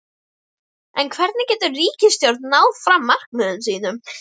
En hvernig getur ríkisstjórnin náð fram markmiðum sínum?